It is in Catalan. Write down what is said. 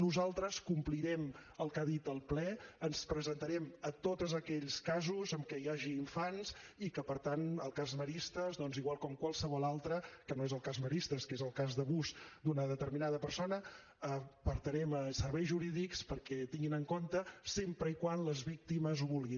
nosaltres complirem el que ha dit el ple ens presentarem a tots aquells casos en què hi hagi infants i que per tant el cas maristes doncs igual com qualsevol altre que no és el cas maristes que és el cas d’abús d’una determinada persona el portarem a serveis jurídics perquè ho tinguin en compte sempre que les víctimes ho vulguin